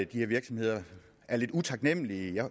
de her virksomheder er lidt utaknemmelige